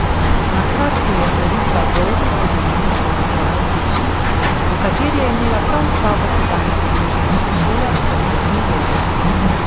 Na kratko je orisal dolgo zgodovino šolstva v Stični, v kateri je imela prav stavba sedanje podružnične šole pomembno vlogo.